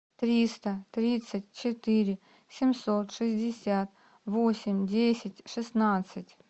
триста тридцать четыре семьсот шестьдесят восемь десять шестнадцать